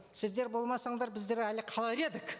сіздер болмасаңдар біздер әлі қалар едік